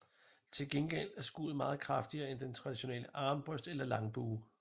Til gengæld er skuddet meget kraftigere end med den traditionelle armbrøst eller en langbue